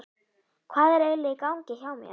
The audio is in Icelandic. Hvað er eiginlega í gangi hjá mér?